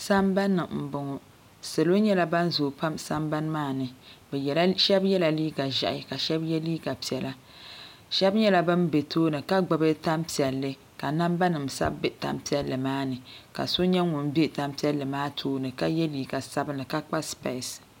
sambanni n boŋɔ salo nyɛla ban zooi pam sambani maa ni shab yɛla liiga ʒiɛhi ka shab yɛ liiga piɛla shab nyɛla bin bɛ tooni ka gbubi tan piɛlli ka namba nim sabi bɛ tani piɛlli maa ni ka so nyɛ ŋun bɛ tan piɛlli maa tooni ka yɛ liiga sabinli ka kpa spees